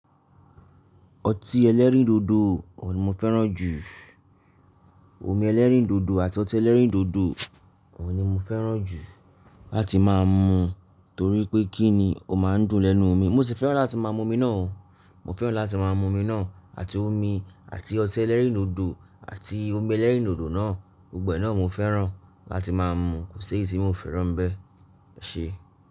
Ọtí ẹlẹ́rìndòdò òun ni mo fẹ́ràn jù. Omi ẹlẹ́rìndòdò àti ọtí ẹlẹ́rìndòdò òun ni mo fẹ́ràn jù láti má mú torí pé kí ni ó má ń dùn lẹ́nu omi. Mo sì fẹ́ràn láti máa mu omi náà o, mo fẹ́ràn láti máa mu omi náà àti omi àti ọtí ẹlẹ́rìndòdò àti omi ẹlẹ́rìndòdò náà, gbogbo ẹ náà mo fẹ́ràn láti má mú, kò sí èyí tí mo fẹ́ràn bẹ́ẹ̀. Ẹṣẹ́